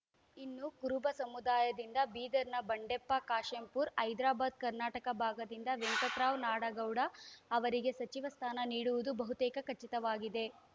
ಇನ್ನು ಕುರುಬ ಸಮುದಾಯದಿಂದ ಬೀದರ್‌ನ ಬಂಡೆಪ್ಪ ಕಾಶೆಂಪೂರ ಹೈದರಬಾದ್‌ಕರ್ನಾಟಕ ಭಾಗದಿಂದ ವೆಂಕಟರಾವ್‌ ನಾಡಗೌಡ ಅವರಿಗೆ ಸಚಿವ ಸ್ಥಾನ ನೀಡುವುದು ಬಹುತೇಕ ಖಚಿತವಾಗಿದೆ